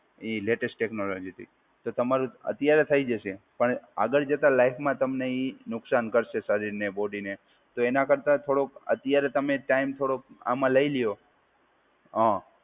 એ latest ટેકનોલોજીથી. તો તમારું અત્યારે થઈ જશે પણ આગળ જતા લાઇફમાં તમને એ નુકસાન કરશે શરીરને બોડીને. તો એના કરતાં થોડો અત્યારે તમે ટાઈમ થોડો આમાં લઈ લ્યો હા.